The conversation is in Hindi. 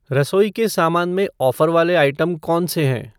रसोई का सामान में ऑफ़र वाले आइटम कौन से हैं?